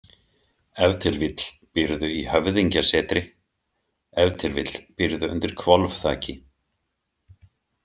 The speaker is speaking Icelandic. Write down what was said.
Ef til vill býrðu í höfðingjasetri, ef til vill býrðu undir hvolfþaki.